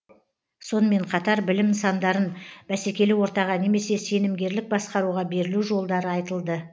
сонымен қатар білім нысандарын бәсекелі ортаға немесе сенімгерлік басқаруға берілу жолдары айтылды